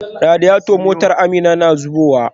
Radiator motar Amina na zubowa.